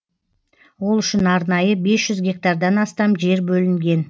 ол үшін арнайы бес жүз гектардан астам жер бөлінген